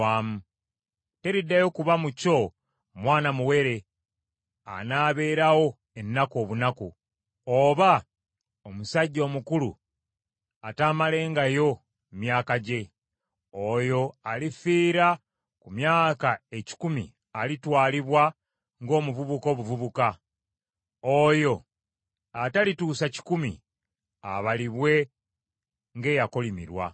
“Teriddayo kuba mu kyo mwana muwere anaaberawo ennaku obunaku, oba omusajja omukulu ataamalengayo myaka gye; oyo alifiira ku myaka ekikumi alitwalibwa ng’omuvubuka obuvubuka. Oyo atalituusa kikumi abalibwe ng’eyakolimirwa.